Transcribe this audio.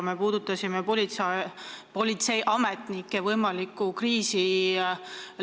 Me puudutasime lähima viie aasta jooksul tekkida võivat politseiametnike kriisi.